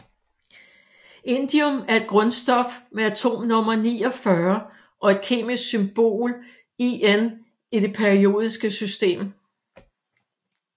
Indium er et grundstof med atomnummer 49 og kemiske symbol In i det periodiske system